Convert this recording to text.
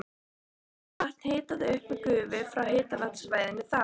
Er kalt vatn hitað upp með gufu frá háhitasvæðinu þar.